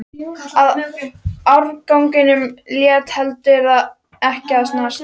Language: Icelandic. Og árangurinn lét heldur ekki á sér standa.